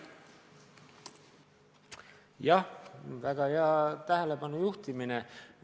Jah, väga hea tähelepanu juhtimine!